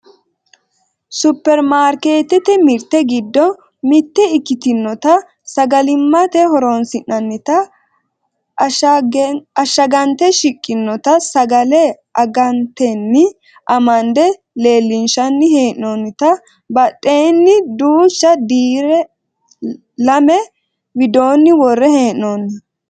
supperimarkkeettete mirte giddo mitte ikkitinota sgalimmate horonsi'nannita ashshagante shiqqinota sagale angatenni amande leellinshanni hee'noonnita badheseeni duucha dirre lame widoonni worre hee'noonni